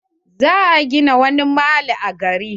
Za a gina wani mall a gari.